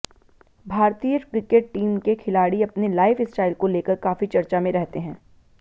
भारतीय cricket team के खिलाड़ी अपने लाइफ स्टाइल को लेकर काफी चर्चा में रहते हैं